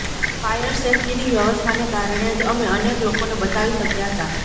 fire સેફટીની વ્યવસ્થાને કારણે જ અમે અનેક લોકોને બચાવી શક્યાં હતાં